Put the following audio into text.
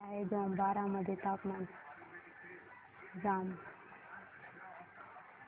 किती आहे जांभोरा मध्ये तापमान